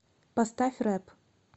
поставь рэп